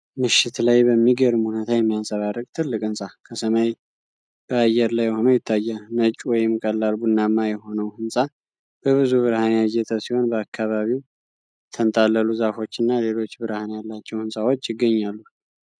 ምሽት ላይ በምገርም ሁነታ የሚያንፀባርቅ ትልቅ ሕንፃ ከሰማይ በአየር ላይ ሆኖ ይታያል። ነጭ ወይም ቀላል ቡናማ የሆነው ሕንፃ በብዙ ብርሃን ያጌጠ ሲሆን፣ በአካባቢውም የተንጣለሉ ዛፎች እና ሌሎች ብርሃን ያላቸው ሕንፃዎች ይገኛሉ።